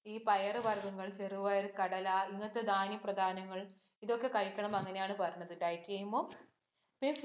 ഈ പയറു വര്‍ഗ്ഗങ്ങള്‍, ചെറുപയര്‍, കടല ഇങ്ങനത്തെ ധാന്യ പ്രദാനങ്ങള്‍ ഇതൊക്കെ കഴിക്കണം, അങ്ങിനെയാണ് പറഞ്ഞത് diet ചെയ്യുമ്പോ